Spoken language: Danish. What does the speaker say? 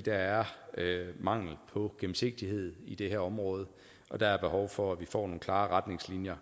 der er mangel på gennemsigtighed i det her område og der er behov for at vi får nogle klare retningslinjer